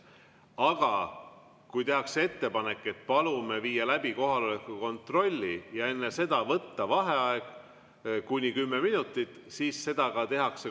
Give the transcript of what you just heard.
Aga kui palutakse viia läbi kohaloleku kontroll ja enne seda võtta vaheaeg kuni kümme minutit, siis seda ka tehakse.